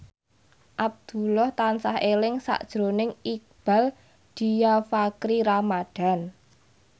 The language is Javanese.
Abdullah tansah eling sakjroning Iqbaal Dhiafakhri Ramadhan